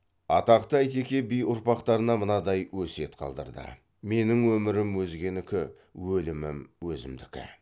атақты әйтеке би ұрпақтарына мынадай өсиет қалдырды менің өмірім өзгенікі өлімім өзімдікі